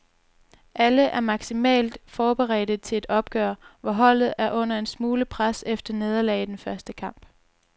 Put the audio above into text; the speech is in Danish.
Alle er maksimalt forberedte til et opgør, hvor holdet er under en smule pres efter nederlag i den første kamp.